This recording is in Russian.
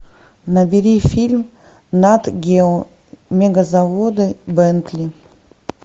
набери фильм нат гео мегазаводы бентли